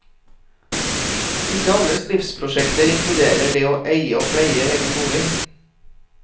Ikke alles livsprosjekter inkluderer det å eie og pleie egen bolig.